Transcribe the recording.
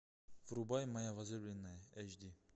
врубай моя возлюбленная эйч ди